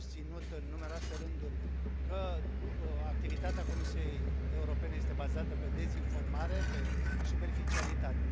Ați susținut în numeroase rânduri că activitatea Comisiei Europene este bazată pe dezinformare, pe superficialitate.